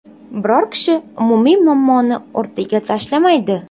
Biror kishi umumiy muammoni o‘rtaga tashlamaydi.